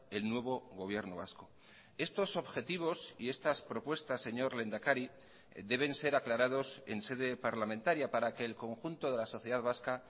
el nuevo gobierno vasco estos objetivos y estas propuestas señor lehendakari deben ser aclarados en sede parlamentaria para que el conjunto de la sociedad vasca